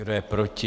Kdo je proti?